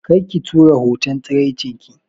Kar ki tura hoton tsiraicinki